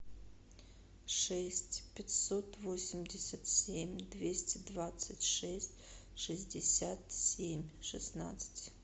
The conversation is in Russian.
шесть пятьсот восемьдесят семь двести двадцать шесть шестьдесят семь шестнадцать